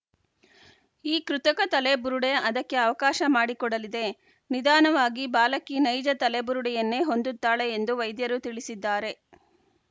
ಈ ಕೃತಕ ತಲೆಬುರುಡೆ ಅದಕ್ಕೆ ಅವಕಾಶ ಮಾಡಿಕೊಡಲಿದೆ ನಿಧಾನವಾಗಿ ಬಾಲಕಿ ನೈಜ ತಲೆಬುರುಡೆಯನ್ನೇ ಹೊಂದುತ್ತಾಳೆ ಎಂದು ವೈದ್ಯರು ತಿಳಿಸಿದ್ದಾರೆ